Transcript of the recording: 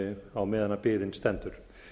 á meðan biðin stendur